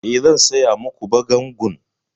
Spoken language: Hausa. E, zan saya ma ku bagangun.